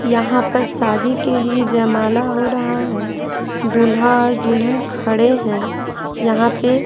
यहाँ पर शादी के लिए जयमाला हो रहा है दूल्हा और दूल्हन खड़े हैं यहाँ पे--